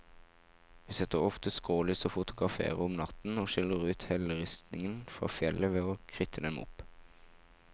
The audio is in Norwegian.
Vi setter ofte skrålys og fotograferer om natten, og skiller ut helleristningen fra fjellet ved å kritte dem opp.